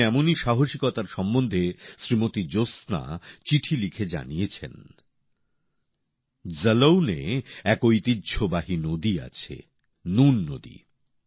আমায় এমনই সাহসিকতার সম্বন্ধে শ্রীমতি জ্যোৎস্না চিঠি লিখে জানিয়েছেন জালৌনে এক ঐতিহ্যবাহী নদী আছে নুন নদী